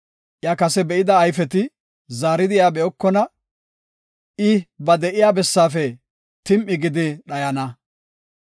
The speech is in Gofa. Iya kase be7ida ayfeti zaaridi iya be7okona; I ba de7iya bessaafe tim7i gidi dhayana.